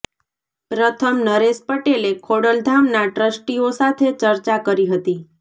પ્રથમ નરેશ પટેલે ખોડલધામના ટ્રસ્ટીઓ સાથે ચર્ચા કરી હતી